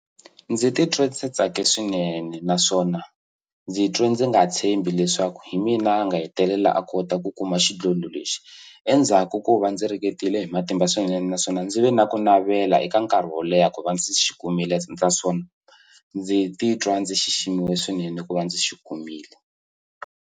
Ndzi titwa ndzi tsake swinene naswona ndzi twe ndzi nga tshembi leswaku hi mina a nga hetelela a kota ku kuma xidlodlo lexi endzhaku ko va ndzi ringetile hi matimba swinene naswona ndzi ve na ku navela eka nkarhi wo leha ku va ndzi xi kumile naswona ndzi titwa ndzi xiximiwa swinene ku va ndzi xi kumile.